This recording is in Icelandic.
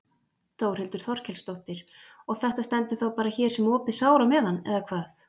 Þórhildur Þorkelsdóttir: Og þetta stendur þá bara hér sem opið sár á meðan eða hvað?